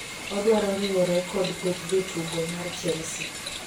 odwaro riwore kod kweth jotugo mar Chelsea